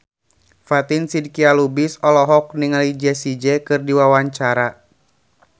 Fatin Shidqia Lubis olohok ningali Jessie J keur diwawancara